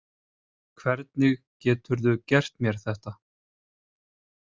Hvernig geturðu gert mér þetta?